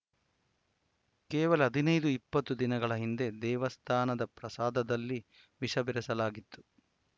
ಕೇವಲ ಹದಿನೈದು ಇಪ್ಪತ್ತು ದಿನಗಳ ಹಿಂದೆ ದೇವಸ್ಥಾನದ ಪ್ರಸಾದದಲ್ಲಿ ವಿಷ ಬೆರೆಸಲಾಗಿತ್ತು